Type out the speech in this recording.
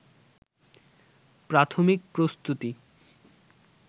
প্রাথমিক প্রস্তুতি